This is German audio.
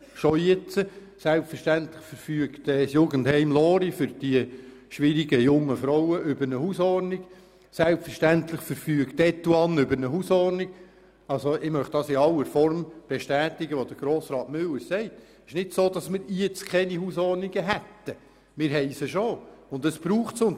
Bereits jetzt verfügt das Jugendheim Lory für die schwierigen jungen Frauen über eine Hausordnung und selbstverständlich verfügt die Station Etoine der Universitären Psychiatrischen Dienste Bern über eine Hausordnung.